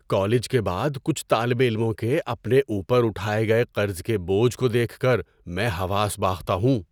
‏College کے بعد کچھ طالب علموں کے اپنے اوپر اٹھائے گئے قرض کے بوجھ کو دیکھ کر میں حواس باختہ ہوں۔